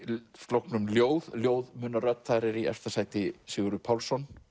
flokknum ljóð ljóð muna rödd þar er í efsta sæti Sigurður Pálsson